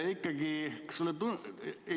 Kas sulle ei tundu ...